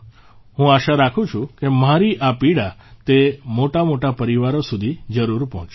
હું આશા રાખું છું કે મારી આ પીડા તે મોટામોટા પરિવારો સુધી જરૂર પહોંચશે